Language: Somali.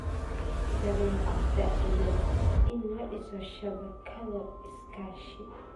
dabeecadda iyo in la dhiso shabakado iskaashi.